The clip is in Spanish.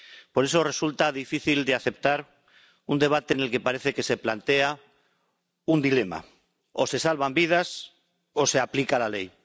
Por eso resulta difícil de aceptar un debate en el que parece que se plantea un dilema o se salvan vidas o se aplica la ley.